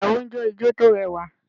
Ìyàwó ń jó ijo tó rẹwà